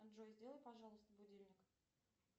джой сделай пожалуйста будильник